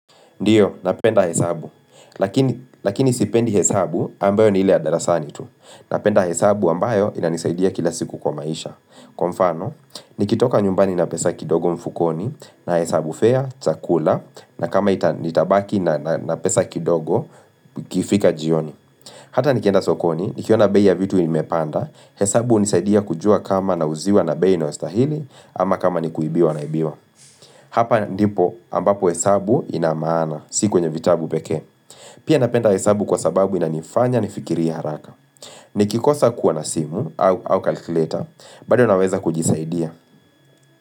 Ndio, napenda hesabu, lakini sipendi hesabu ambayo ni ile ya darasani tu. Napenda hesabu ambayo inanisaidia kila siku kwa maisha. Kwa mfano, nikitoka nyumbani na pesa kidogo mfukoni, na hesabu fea, chakula, na kama nitabaki na pesa kidogo, ikifika jioni. Hata nikienda sokoni, nikiona bei vitu imepanda, hesabu hunisaidia kujua kama nauziwa na bei inayostahili, ama kama nikuibiwa naibiwa. Hapa ndipo ambapo hesabu inamaana, si kwenye vitabu pekee Pia napenda hesabu kwa sababu inanifanya nifikirie haraka Nikikosa kuwa na simu au kalkileta, bado naweza kujisaidia.